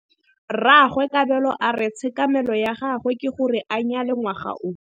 Rragwe Kabelo a re tshekamêlô ya gagwe ke gore a nyale ngwaga o.